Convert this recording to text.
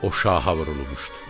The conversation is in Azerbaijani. O şaha vurulmuşdu.